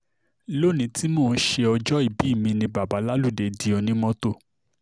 lónìí tí mò ń ṣe ọjọ́ ìbí mi ni bàbá láludé di onímọ́tò